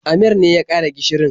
Amir ne ya ƙara gishirin.